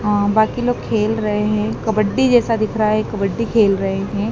अं बाकी लोग खेल रहे हैं कबड्डी जैसा दिख रहा है कबड्डी खेल रहे हैं।